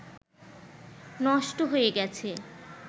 নষ্ট হয়ে গেছে